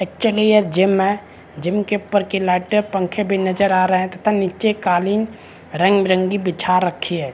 अचली ये गिम है गिम के ऊपर के लाइट पंखे भी नजर आ रहे है तथा निचे कालीन रंग बीरंगे बिछा रखी है।